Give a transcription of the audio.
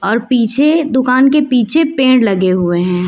और पीछे दुकान के पीछे पेड़ लगे हुए हैं।